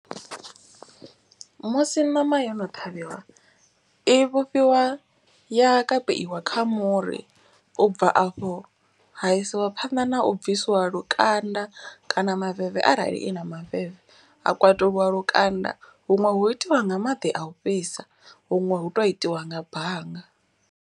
Musi ṋama yo no ṱhavhiwa i vhofhiwa ya kapeiwa kha muri. U bva afho ha isiwa phanḓa na u bvisiwa lukanda kana maveve arali i na maveve. Ha kwatuliwa lukanda huṅwe hu itiwa nga maḓi a u fhisa huṅwe hu to itiwa nga banga.